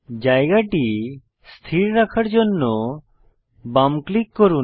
জায়গাটি স্থির রাখার জন্য বাম ক্লিক করুন